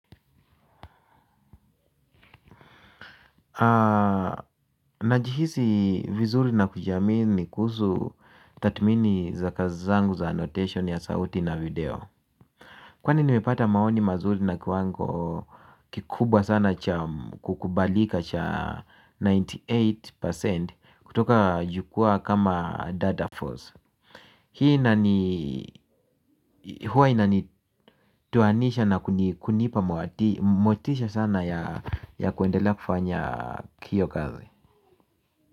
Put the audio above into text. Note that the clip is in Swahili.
Najihisi vizuri na kujamii ni kuhusu tathmini za kazi zangu za annotation ya sauti na video kwani nimepata maoni mazuri na kiwango kikubwa sana cha kukubalika cha asilimia tisini na nane kutoka jukwaa kama data force hii huwa inanitoanisha na kunipa motisha sana ya kuendelea kufanya hio kazi.